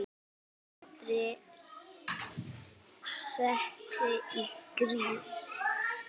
Andri setti í gír.